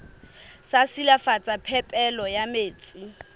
sa silafatsa phepelo ya metsi